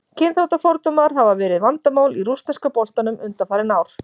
Kynþáttafordómar hafa verið vandamál í rússneska boltanum undanfarin ár.